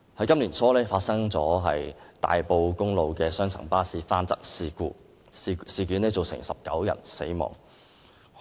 今年年初，大埔公路發生雙層巴士翻側事故，造成19人死亡。